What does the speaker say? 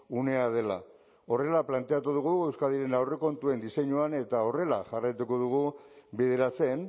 unea dela horrela planteatu dugu euskadiren aurrekontuen diseinuan eta horrela jarraituko dugu bideratzen